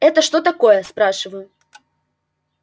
это что такое спрашиваю